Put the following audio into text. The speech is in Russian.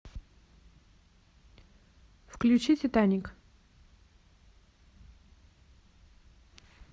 включи титаник